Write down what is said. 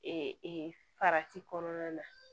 Ee farati kɔnɔna na